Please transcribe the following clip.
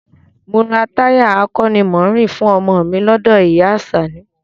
Mo ra táyà akọ́nimọ̀ọ́rìn fún ọmọ ọ mi lọ́dọ̀ ìyá a Àṣàní